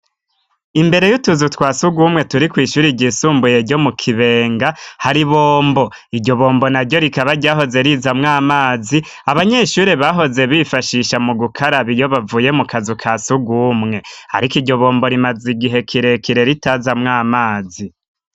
Imbere y'utuzu twa sugumwe turi kw' ishuri ryisumbuye ryo mu kibenga, har'ibombo, iryo bombo na ryo rikaba ryahoze rizamw 'amazi, abanyeshure bahoze bifashisha mu gukaraba iyo bavuye mu kazu ka sugumwe arik' iryo bombo rimaze igihe kirekire ritazamw 'amazi.